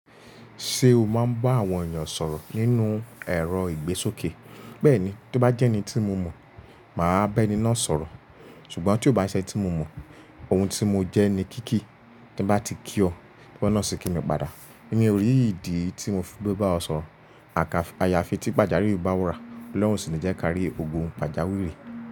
Ṣé o máa ń bá àwọn ènìyàn sọ̀rọ̀ nínú ẹ̀rọ ìgbésókè? Bẹ́ẹ̀ni, tí ó bá jẹ́ ẹni tí mo mọ̀, màá bá ẹni náà sọ̀rọ̀. Ṣùgbọ́n tí ó bá ṣe ẹni tí mo mọ̀, ohun tí mo jẹ́ ni kíkí. Tí bá ti kí ọ, ki wọ náà ṣi kí mi padà. Mi ò rí ìdí tí mo fi gbé bá ọ sọ̀rọ̀. Àká ayafi tí pàjáwìrì bá wúra. Ọlọ́run o sì ní jẹ́ kí á rí ogun pàjáwìrì.